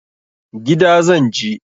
Gida zan je.